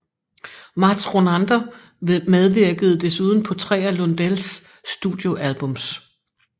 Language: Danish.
Mats Ronander medvirkede desuden på tre af Lundells studioalbums